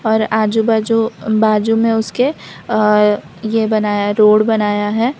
और आजू बाजू बाजू में उसके अ ये बनाया रोड बनाया है।